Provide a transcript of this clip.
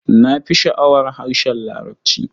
Na fi sha'awar harshen Larabci.